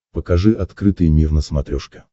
покажи открытый мир на смотрешке